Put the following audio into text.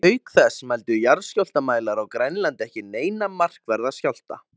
Póstkort frá Viktoríutímanum sem sýnir konu berja storkinn frá sér.